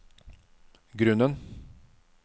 grunnen